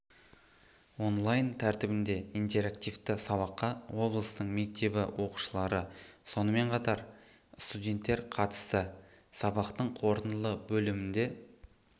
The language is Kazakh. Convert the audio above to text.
онлайн тәртібінде интерактивті сабаққа облыстың мектебі оқушылары сонымен қатар ның студенттер қатысты сабақтың қорытынды бөлімінде